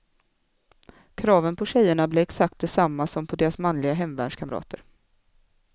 Kraven på tjejerna blir exakt desamma som på deras manliga hemvärnskamrater.